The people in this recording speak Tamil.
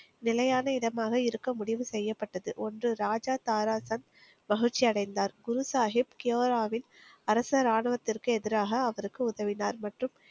நிலையான இடமாக இருக்க முடிவு செய்யப்பட்டது. ஒன்று. ராஜா தாராசன் மகிழ்ச்சியடைந்தார். குரு சாகிப் கியுராவில் அரசர் ஆணவத்திற்கு எதிராக அவருக்கு உதவினார்.